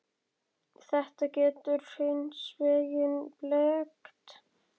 Þetta getur hins vegar blekkt.